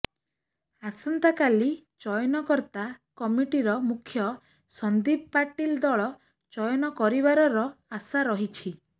ଆସନ୍ତାକାଲି ଚୟନକର୍ତ୍ତା କମିଟିର ମୁଖ୍ୟ ସନ୍ଦୀପ ପାଟିଲ ଦଳ ଚୟନ କରିବାରର ଆଶା ରହିଛି